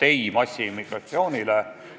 "Ei massiimmigratsioonile!